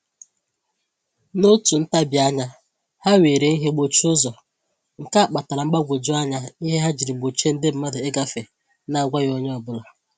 N'otu ntabianya, ha were ihe gbochie ụzọ, nke a kpatara mgbagwoju anya ihe ha jiri gbochie ndi mmadụ ịgafe na-agwaghị onye ọbụla